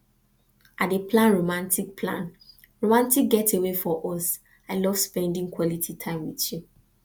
i dey plan romantic plan romantic getaway for us i love spending quality time with you